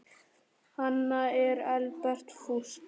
Annað er helbert fúsk.